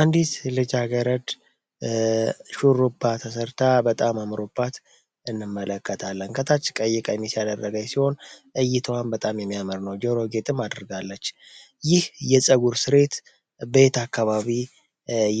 አንዲት ልጃገረድ ሹሩባ ተሰርታ በጣም አምሮባት እንመለከታለን። ከታች ቀይ ቀሚስ ያደረገች ሲሆን እይታዋም በጣም የሚያምር ነው። ጀሮ ጌጥም አድርጋለች ይህ የፀጉር ስሬት በየት አካባቢ